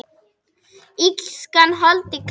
Illskan holdi klædd?